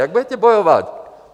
Jak budete bojovat?